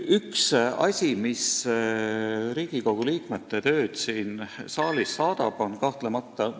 Üks asi, mis Riigikogu liikmete tööd siin saalis vahetult puudutab, on kahtlemata stenogramm.